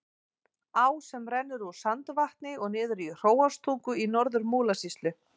Á sem rennur úr Sandvatni og niður í Hróarstungu í Norður-Múlasýslu.